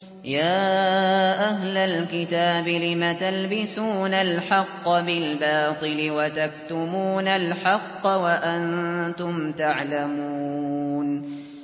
يَا أَهْلَ الْكِتَابِ لِمَ تَلْبِسُونَ الْحَقَّ بِالْبَاطِلِ وَتَكْتُمُونَ الْحَقَّ وَأَنتُمْ تَعْلَمُونَ